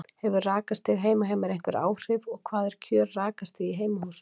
Hefur rakastig heima hjá mér einhver áhrif og hvað er kjör rakastig í heimahúsum?